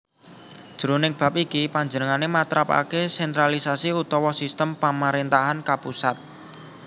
Jroning bab iki panjenengané matrapaké sentralisasi utawa sistem pamaréntahan kapusat